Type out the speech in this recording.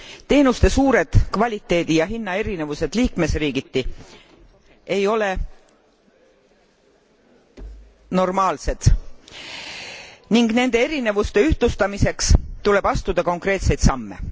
Teenuste suured kvaliteedi ja hinna erinevused liikmesriigiti ei ole normaalsed ning nende erinevuste ühtlustamiseks tuleb astuda konkreetseid samme.